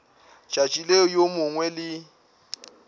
tšatši leo yo mongwe le